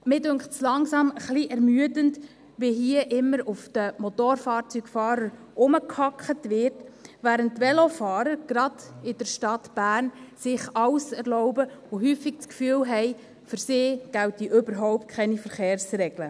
Ich finde es langsam etwas ermüdend, wie hier immer auf den Motorfahrzeugfahrern herumgehackt wird, während sich die Velofahrer, gerade in der Stadt Bern, alles erlauben und häufig das Gefühl haben, für sie gälten überhaupt keine Verkehrsregeln.